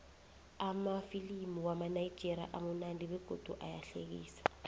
amafilimu wamanigerian amunandi begodu ayahlekisa